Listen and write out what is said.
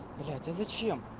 блять я зачем